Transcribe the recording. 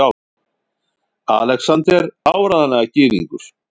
ALEXANDER: Áreiðanlega gyðingur!